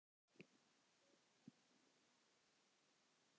Þeir eru að skoða málið.